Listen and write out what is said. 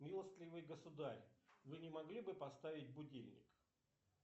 милостливый государь вы не могли бы поставить будильник